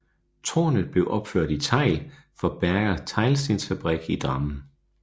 Tårnet blev opført i tegl fra Berger teglstensfabrik i Drammen